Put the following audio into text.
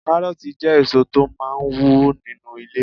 Kárọ̀ọ̀tì jẹ́ èso tó máà ń wù sínu ilẹ̀